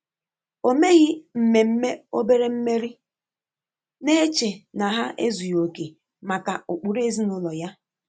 Ọ́ meghi mmémme óbèré mmèrí, nà-échè nà há èzùghị́ óké màkà ụ́kpụ́rụ́ èzínụ́lọ yá.